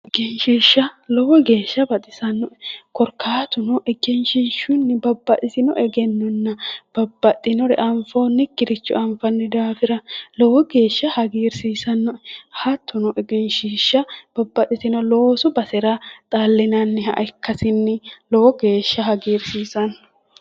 Egenshishsha, Lowo geeshsha baxisanoe", korkaatuno egenshishshunni babbaxitino egennona babbaxinore anfonikire anfanni daafira lowo geeshsha hagiirsisanoe",hattono egenshishsha babbaxitino loosu basera xalinanniha ikkasinni lowo geeshsha hagiirsiisano